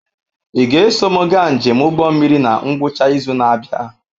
Ị ga-eso m gaa njem ụgbọ mmiri na ngwụcha izu na-abịa?